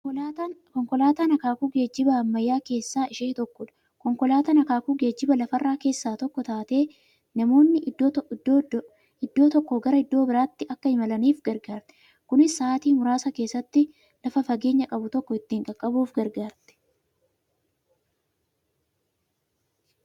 Konkolaatan akaakuu geejjiba ammayyaa keessaa ishee tokkodha. Konkolaatan akaakuu geejjiba lafarraa keessaa tokko taatee, namoonni iddoo tokkoo gara iddoo birraatti Akka imalaniif gargaarti. Kunis sa'aatii muraasa keessatti lafa fageenya qabu tokko ittiin qaqqabuuf gargaarti.